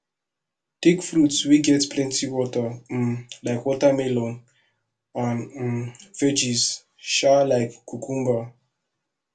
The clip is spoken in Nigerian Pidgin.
take fruits wey get plenty water um like watermelon and um veggies um like cucumber